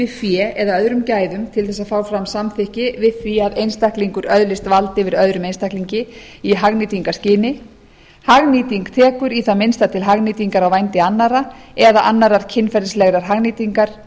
fé eða öðrum gæðum til þess að fá fram samþykki við því að einstaklingur öðlist vald yfir öðrum einstaklingi í hagnýtingarskyni hagnýting tekur í það minnsta til hagnýtingar á vændi annarra eða annarrar kynferðislegrar hagnýtingar